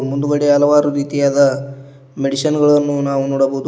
ಮುಂದುಗಡೆ ಹಲವಾರು ರೀತಿಯಾದ ಮೆಡಿಸನ್ ಗಳನ್ನು ನಾವು ನೋಡಬಹುದು ಹಾ--